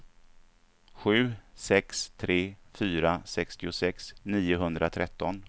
sju sex tre fyra sextiosex niohundratretton